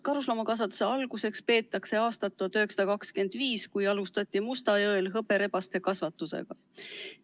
Karusloomakasvatuse alguseks peetakse aastat 1925, kui alustati Mustjõel hõberebaste kasvatusega.